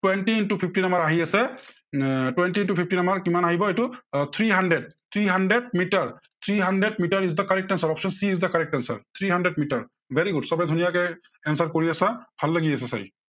twenty into fifteen আমাৰ আহি আছে, এৰ twenty into fifteen আমাৰ কিমান আহিব এইটো আহ three hundred আহ three hundred, three hundred metre is the correct answer, option C is the correct answer, very good, three hundred metre. সৱেই ধুনীয়াকে answer কৰি আছা, ভাল লাগি আছে চাই।